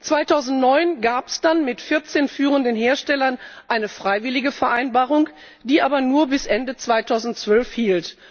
2009 gab es dann mit 14führenden Herstellern eine freiwillige Vereinbarung, die aber nur bis Ende 2012 hielt.